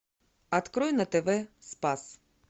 открой на тв спас